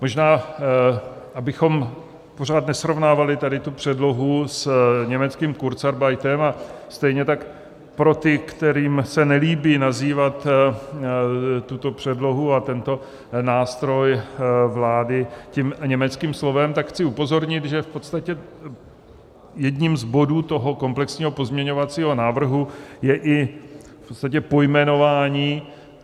Možná abychom pořád nesrovnávali tady tu předlohu s německým kurzarbeitem, a stejně tak pro ty, kterým se nelíbí nazývat tuto předlohu a tento nástroj vlády tím německým slovem, tak chci upozornit, že v podstatě jedním z bodů toho komplexního pozměňovacího návrhu je i v podstatě pojmenování.